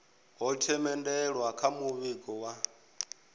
ho themendelwa kha muvhigo wa